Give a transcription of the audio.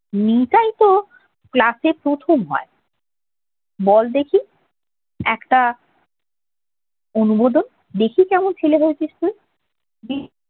নিতাই তো class প্রথম হয় বল দেখি একটা অনুমোদন দেখি কেমন ছেলে হয়েছিস তুই দেখি